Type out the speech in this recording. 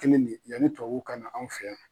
Kelen de yani tubabuw kana anw fɛ yan.